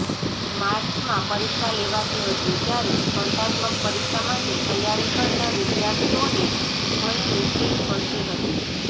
માર્ચમાં પરીક્ષા લેવાતી હતી ત્યારે સ્પર્ધાત્મક પરીક્ષા માટે તૈયારી કરતા વિદ્યાર્થીઓને ઘણી મુશ્કેલી પડતી હતી